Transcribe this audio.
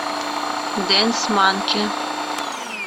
дэнс манки